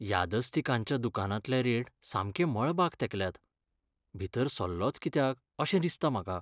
यादस्तिकांच्या दुकानांतले रेट सामके मळबाक तेंकल्यात. भितर सरलोंच कित्याक अशें दिसता म्हाका.